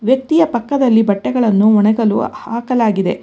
ವ್ಯಕ್ತಿಯ ಪಕ್ಕದಲ್ಲಿ ಬಟ್ಟೆಗಳನ್ನು ಒಣಗಲು ಹಾಕಲಾಗಿದೆ.